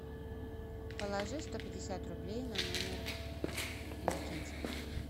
положи сто пятьдесят рублей на номер иннокентия